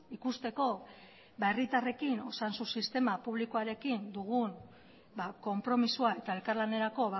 ikusteko ba herritarrekin osasun sistema publikoarekin dugun konpromisoa eta elkarlanerako